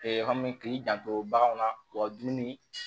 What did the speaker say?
yɔrɔ min k'i janto bagan na wa dumuni